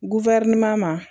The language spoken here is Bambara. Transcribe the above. ma